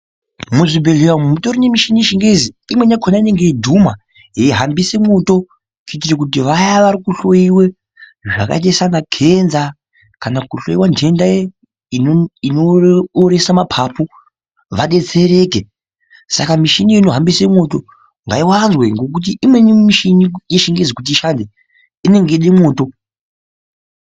Muzvibhedhlera umu mutorine michini yechingezi imweni yakona inenge yeidhuma yeihambise mwoto. Kuitire kuti vaya vari kuhloiwe zvakaita sana kenza kana kuhloiwa ntenda inooresa mapapu vabetsereke. Saka michini inohambisa mwoto ngaivanze ngekuti imweni michini yechingezi kuti ishande inenge yeide mwoto.